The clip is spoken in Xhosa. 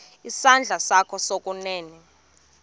isandla sakho sokunene